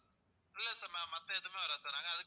இல்ல sir மத்த எதுவுமே வராது sir நாங்க அதை